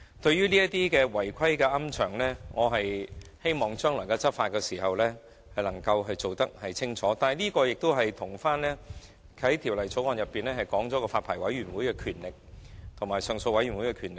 至於違規龕場，我希望將來的執法工作會更為清晰，但這畢竟與《條例草案》所訂私營骨灰安置所發牌委員會及上訴委員會的權力有關。